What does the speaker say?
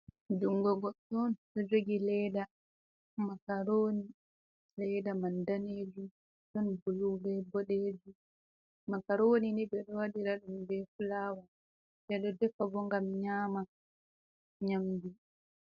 Jungo goɗɗo on ɗo jogi leda makaroni, leda man danejum ɗon bulu bee boɗejum, makaroni ni ɓedo waɗira ɗum bee fulawa ɓedo defa on bo ngam nyama nyamndu.